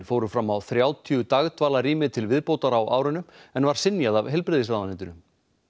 fóru fram á þrjátíu til viðbótar á árinu en var synjað af heilbrigðisráðuneytinu